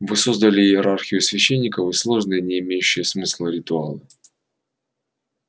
вы создали иерархию священников и сложные не имеющие смысла ритуалы